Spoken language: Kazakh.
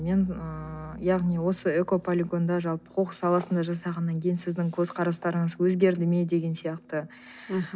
мен ыыы яғни осы экополигонда жалпы қоқыс саласында жасағаннан кейін сіздің көзқарастарыңыз өзгерді ме деген сияқты мхм